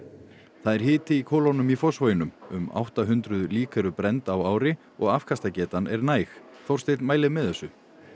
það er hiti í kolunum í Fossvoginum um átta hundruð lík eru brennd á ári og afkastagetan er næg Þórsteinn mælir með þessu